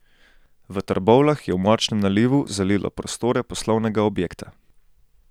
V Trbovljah je v močnem nalivu zalilo prostore poslovnega objekta.